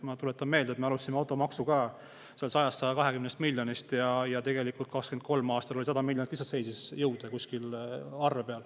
Ma tuletan meelde, et me alustasime automaksu puhul 100 või 120 miljonist ja 2023. aastal 100 miljonit tegelikult lihtsalt seisis jõude kuskil arve peal.